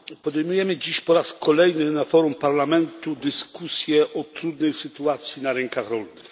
Podejmujemy dziś po raz kolejny na forum Parlamentu dyskusję o trudnej sytuacji na rynkach rolnych.